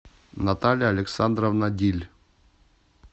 наталья александровна диль